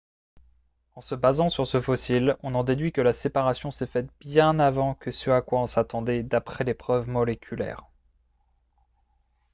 « en se basant sur ce fossile on en déduit que la séparation s’est faite bien avant que ce à quoi on s’attendait d’après les preuves moléculaires